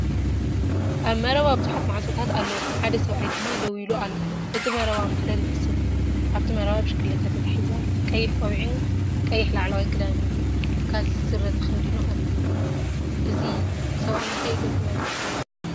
ኣብ መረባ ብዙሓት ማዕጾታት ኣለዉ ሓደ ሰብኣይ ድማ ደው ኢሉ ኣሎ። እቲ መረባ ማህደር ይመስል። ኣብቲ መረባ ብሽክለታ ተተሓሒዛ ኣላ። ቀይሕ ቆቢዕን ቀይሕ ላዕለዋይ ክዳንን ካኪ ስረ ተኸዲኑ ኣሎ። እዚ ሰብኣይ እንታይ ይገብር ኣሎ ትብሉ?